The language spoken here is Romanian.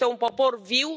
Este un popor viu.